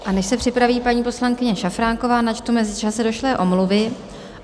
A než se připraví paní poslankyně Šafránková, načtu v mezičase došlé omluvy.